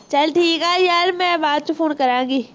ਚੱਲ ਠੀਕ ਹੈ ਯਾਰ ਮੈਂ ਬਾਅਦ ਚ ਫੋਨ ਕਰਾਂਗੀ